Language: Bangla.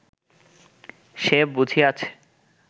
সে বুঝিয়াছে